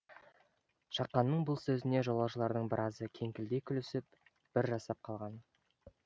шақанның бұл сөзіне жолаушылардың біразы кеңкілдей күлісіп бір жасап қалған